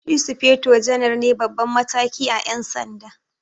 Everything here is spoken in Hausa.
Shi sufeto janar ne Baban mataki à Yan sanda.